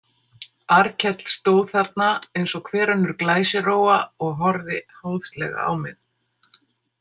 Arnkell stóð þarna eins og hver önnur glæsirófa og horfði háðslega á mig.